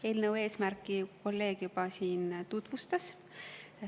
Eelnõu eesmärki kolleeg juba siin tutvustas.